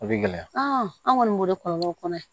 A bɛ gɛlɛya an kɔni b'o de kɔlɔbɔ o kɔnɔ ye